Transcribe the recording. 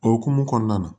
O hokumu kɔnɔna na